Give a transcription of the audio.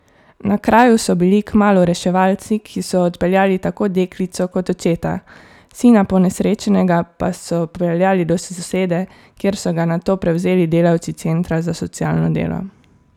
Na kraju so bili kmalu reševalci, ki so odpeljali tako deklico kot očeta, sina ponesrečenega pa so peljali do sosede, kjer so ga nato prevzeli delavci centra za socialno delo.